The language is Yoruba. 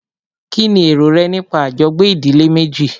Kínní èrò rẹ nípa àjọgbé ìdílé méjì?